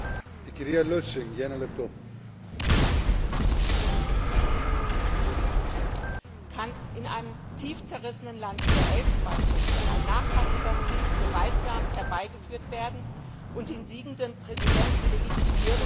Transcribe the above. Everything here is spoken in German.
Herr Präsident! Kann in einem tief zerrissenen Land wie der Elfenbeinküste ein nachhaltiger Friede gewaltsam herbeigeführt werden und den siegenden Präsidenten legitimieren?